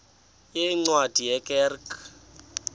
yeencwadi ye kerk